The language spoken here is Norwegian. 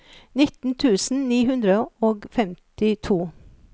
nitten tusen ni hundre og femtito